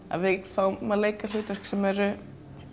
að við fáum að leika hlutverk sem eru